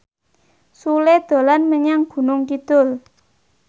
Sule dolan menyang Gunung Kidul